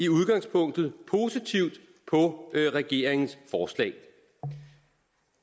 udgangspunkt positivt på regeringens forslag